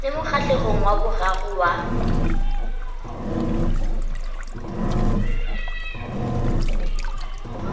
le mokgahlelong wa boraro wa